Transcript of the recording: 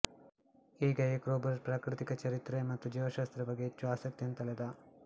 ಹೀಗಾಗಿ ಕ್ರೋಬರ್ ಪ್ರಾಕೃತಿಕ ಚರಿತ್ರೆ ಮತ್ತು ಜೀವಶಾಸ್ತ್ರದ ಬಗ್ಗೆ ಹೆಚ್ಚು ಆಸಕ್ತಿಯನ್ನು ತಳೆದ